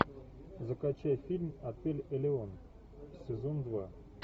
закачай фильм отель элеон сезон два